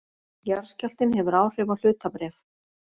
Jarðskjálftinn hefur áhrif á hlutabréf